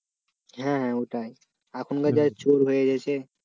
হ্যাঁ ওটাই এখনকার চোর হয়ে গেছে।